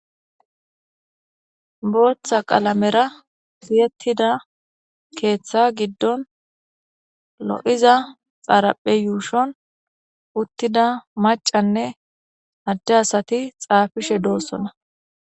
Booththa qalamera fiyettida keeththa giddon lo7iza xaaraphe yuushon uttida macanne adde asati xaafishe doossona.